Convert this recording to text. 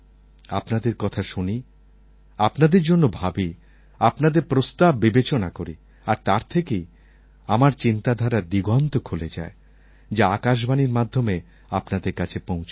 আপনাদের কথা শুনি আপনাদের জন্য ভাবি আপনাদের প্রস্তাব বিবেচনা করি আর তার থেকেই আমার চিন্তাধারার দিগন্ত খুলে যায় যা আকাশবাণীর মাধ্যমে আপনাদের কাছে পৌঁছায়